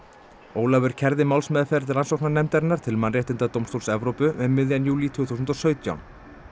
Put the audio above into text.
Ólafur kærði málsmeðferð rannsóknarnefndarinnar til Mannréttindadómstóls Evrópu um miðjan júlí tvö þúsund og sautján